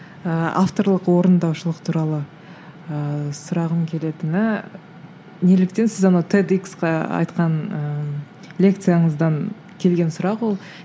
ыыы авторлық орындаушылық туралы ыыы сұрағым келетіні неліктен сіз ана тед иксқа айтқан ыыы лекцияыңыздан келген сұрақ ол